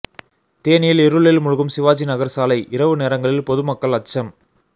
தேனியில் இருளில் மூழ்கும் சிவாஜி நகர் சாலை இரவு நேரங்களில் பொதுமக்கள் அச்சம்